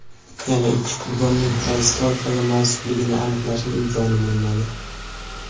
Yana ikki qurbonning qaysi toifaga mansubligini aniqlashning imkoni bo‘lmadi.